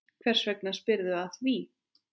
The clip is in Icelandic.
Hvers vegna spyrðu að því?